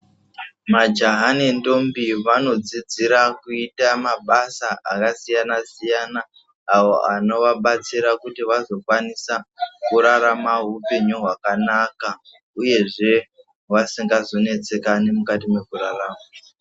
Majaha nendombi vanodzidzira kuita mabasa akasiyana-siyana, avo anovabatsira kuti vazokwanisa, kurarama upenyu hwakanaka, uyezve vasingazonetsekani mukati mwekurarama.